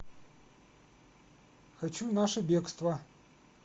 хочу наше бегство